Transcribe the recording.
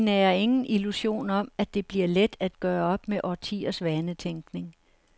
Vi nærer ingen illusion om, at det bliver let at gøre op med årtiers vanetænkning.